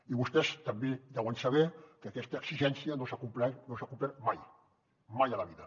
i vostès també deuen saber que aquesta exigència no s’ha complert no s’ha complert mai mai a la vida